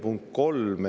Punkt kolm.